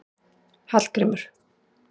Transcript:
Hallgrímur